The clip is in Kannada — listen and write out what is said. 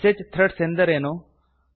ಮೆಸೇಜ್ ಥ್ರೆಡ್ಸ್ ಎಂದರೇನು